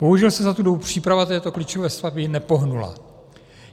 Bohužel se za tu dobu příprava této klíčové stavby nepohnula.